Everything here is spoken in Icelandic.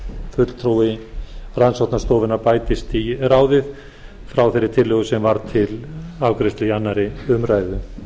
fulltrúi rannsóknastofunnar bætist í ráðið frá þeirri tillögu sem var til afgreiðslu í öðrum